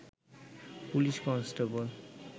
police constable